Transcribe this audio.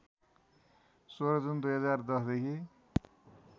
१६ जुन २०१० देखि